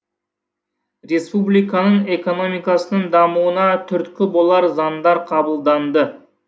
республиканың экономикасының дамуына түрткі болар заңдар қабылданды